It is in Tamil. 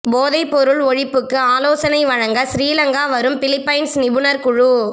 போதைப்பொருள் ஒழிப்புக்கு ஆலோசனை வழங்க சிறிலங்கா வரும் பிலிப்பைன்ஸ் நிபுணர் குழு